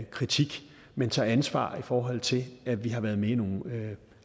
kritisk men tager ansvar i forhold til at vi har været med i nogle